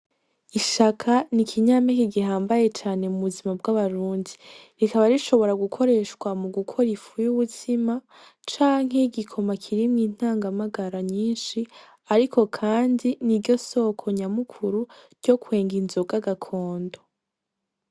Ishaka ni ikinyame kigihambaye cane mu buzima bw'abarunzi rikaba rishobora gukoreshwa mu gukoraifuye ubuzima canke yoigikoma kirimwe intangamagara nyinshi, ariko, kandi ni ryo soko nyamukuru ryo kwenga inzoga agakondo.